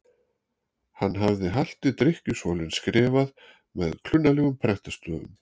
hann hafði halti drykkjusvolinn skrifað með klunnalegum prentstöfum